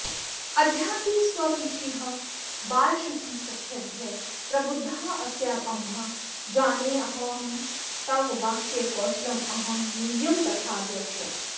अद्यापि स्वपिषीह बालशुकिसख्यद्य प्रबुद्धास्म्यहं जानेऽहं तव वाक्यकौशलमहं यूयं तथा द्रक्ष्यथ